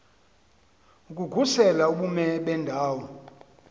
ukukhusela ubume bendawo